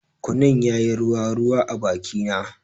Kunun yayi ruwa ruwa a bakina.